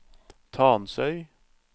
Tansøy